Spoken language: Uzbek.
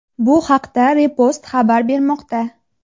Bu haqda Repost xabar bermoqda .